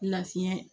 Lafiyɛn